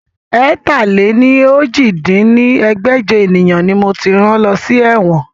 ẹ̀ta-lé-ní-ojì dín ní ẹgbẹ́jọ ènìyàn ni moti rán lọ sí ẹ̀wọ̀n